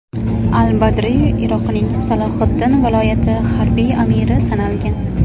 Al-Badriy Iroqning Salohiddin viloyati harbiy amiri sanalgan.